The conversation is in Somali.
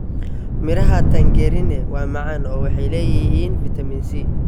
Midhaha tangerine waa macaan oo waxay leeyihiin fitamiin C.